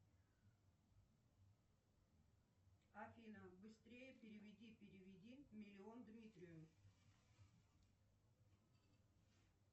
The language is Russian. афина быстрее переведи переведи миллион дмитрию